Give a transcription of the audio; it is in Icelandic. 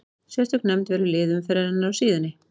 Sérstök nefnd velur lið umferðarinnar á síðunni.